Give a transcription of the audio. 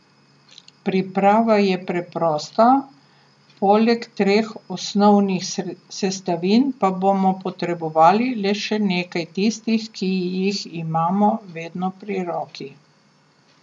Priprava je preprosta, poleg treh osnovnih sestavin pa bomo potrebovali le še nekaj tistih, ki jih imamo vedno pri roki.